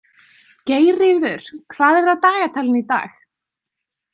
Geirríður, hvað er á dagatalinu í dag?